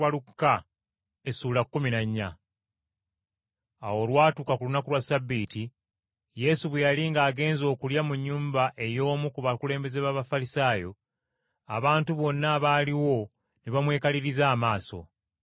Awo olwatuuka ku lunaku lwa Ssabbiiti, Yesu bwe yali ng’agenze okulya mu nnyumba ey’omu ku bakulembeze b’Abafalisaayo, abantu bonna abaaliwo ne bamwekaliriza amaaso.